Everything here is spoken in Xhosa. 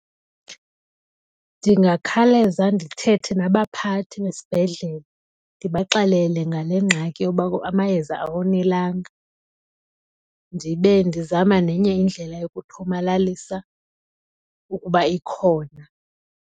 Ndingakhaleza ndithethe nabaphathi besibhedlele ndibaxelele ngale ngxaki yoba amayeza awonelanga ndibe ndizama nenye indlela yokuthomalalisa ukuba ikhona.